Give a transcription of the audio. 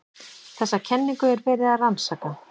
Þessa kenningu er verið að rannsaka.